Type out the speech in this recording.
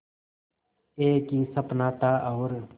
एक ही सपना था और